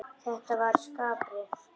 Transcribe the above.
Já, þetta var Skarpi!